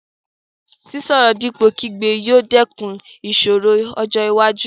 Sísọ̀rọ̀ dípò kígbe yóò dẹ́kun ìṣòro ọjọ́ iwájú.